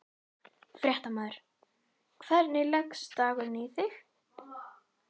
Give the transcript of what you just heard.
Fréttamaður: Hvernig leggst dagurinn í þig?